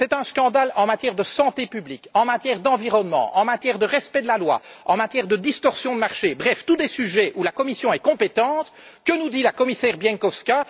C'est un scandale en matière de santé publique, en matière d'environnement, en matière de respect de la loi, en matière de distorsion de marché, bref rien que des sujets pour lesquels la Commission est compétente, et que nous dit la commissaire Bieńkowska?